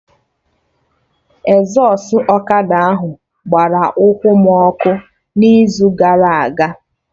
Ezọstụ ọkada ahụ gbara ụkwụ m ọkụ n'izu gara aga